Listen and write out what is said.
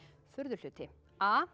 furðuhluti a